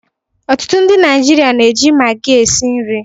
Ọtụtụ ndị Naijiria na-eji Magi esi nri.